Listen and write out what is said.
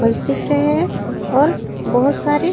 बस दिख रहे है और बहोत सारी--